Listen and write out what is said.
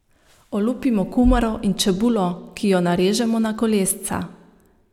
Olupimo kumaro in čebulo, ki jo narežemo na kolesca.